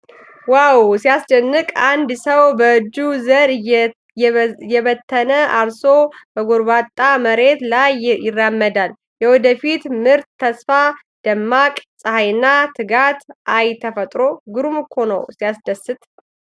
ዋው ሲያስደንቅ! አንድ ሰው በእጁ ዘር እየበተነ አርሶ በጎርባጣ መሬት ላይ ይራመዳል ። የወደፊት ምርት ተስፋ! ደማቅ ፀሐይና ትጋት አይ ፈጥሮ ግሩም እኮ ነው!! ሲያስደስት!